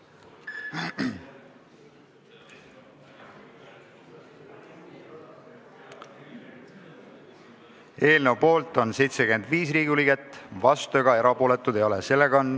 Hääletustulemused Eelnõu poolt on 75 Riigikogu liiget, vastuolijaid ega erapooletuid ei ole.